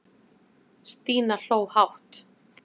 Stína hló hátt.